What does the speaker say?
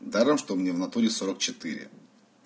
даром что мне в натуре сорок четыре